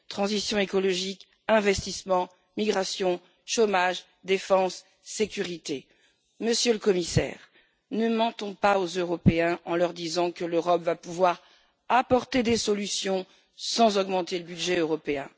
Transition écologique, investissements, migration, chômage, défense, sécurité. Monsieur le Commissaire, ne mentons pas aux Européens en leur disant que l'Europe va pouvoir apporter des solutions sans augmenter le budget européen.